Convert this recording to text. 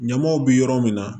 Ɲamaw bɛ yɔrɔ min na